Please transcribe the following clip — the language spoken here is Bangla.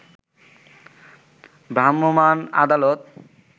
ভ্রাম্যমাণ আদালত